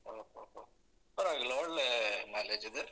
ಓಹೋಹೊ ಪರ್ವಾಗಿಲ್ಲ ಒಳ್ಳೇ mileage ಇದೆ.